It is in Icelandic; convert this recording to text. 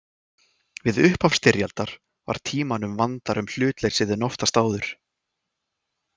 Við upphaf styrjaldar var Tímanum vandara um hlutleysið en oftast áður.